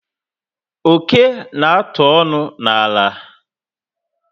Oké na atụ ọṅụ na àlà